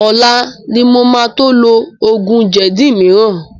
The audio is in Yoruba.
Ọlá ni mo máa to lo oògùn jẹ̀dí mìíràn